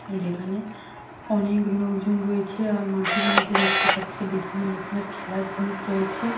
যেখানে অনেক লোকজন রয়েছে। আর মাঠের মধ্যে দেখতে পাচ্ছি বিভিন্ন রকমের খেলার জিনিস রয়েছে।